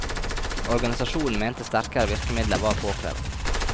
Organisasjonen mente sterkere virkemidler var påkrevet.